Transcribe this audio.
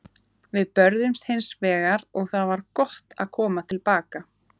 Við börðumst hins vegar og það var gott að koma til baka.